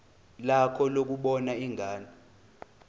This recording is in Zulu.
lakho lokubona ingane